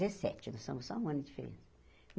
Nós somos só um ano de diferença.